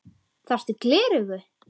Þarftu gleraugu?